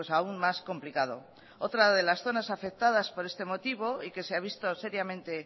aún más complicado otra de las zonas afectadas por este motivo y que se ha visto seriamente